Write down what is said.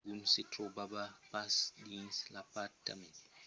degun se trobava pas dins l'apartament